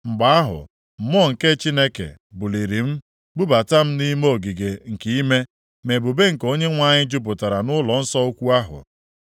Mgbe ahụ, Mmụọ nke Chineke buliri m bubata m nʼime ogige nke ime, ma ebube nke Onyenwe anyị jupụtara nʼụlọnsọ ukwu ahụ.